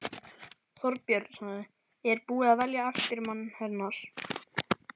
Þorbjörn: Er búið að velja eftirmann hennar?